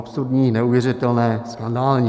Absurdní, neuvěřitelné, skandální.